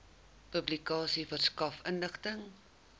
publikasie verskaf inligting